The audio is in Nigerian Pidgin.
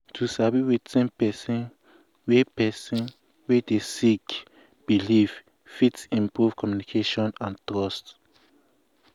to sabi wetin person wey person wey dey sick believe fit improve communication and trust.